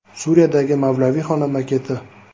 Suriyadagi mavlaviyxona maketi.